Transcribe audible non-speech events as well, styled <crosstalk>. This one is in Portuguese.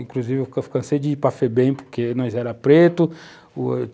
Inclusive, eu <unintelligible> cansei de ir para Febem, porque nós éramos pretos.